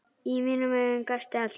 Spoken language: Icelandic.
Í mínum augum gastu allt.